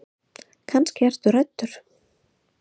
Kannski ertu hræddur.